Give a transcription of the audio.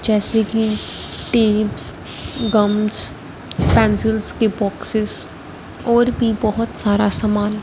जैसे कि tips gums pencils के बॉक्सेस और भी बहोत सारा सामान--